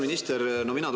Härra peaminister!